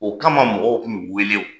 O kama mɔgɔw kun mi wele